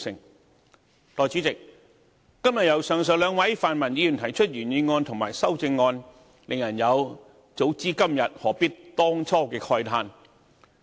代理主席，今天由上述兩位泛民議員提出原議案和修正案，令人有"早知如此，何必當初"的慨嘆。